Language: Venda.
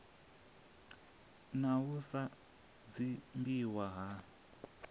na u sa dzumbiwa ha